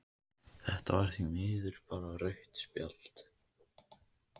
Þetta var því miður bara rautt spjald.